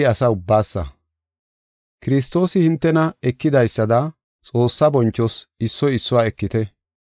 Kiristoosi hintena ekidaysada Xoossaa bonchoos issoy issuwa ekite.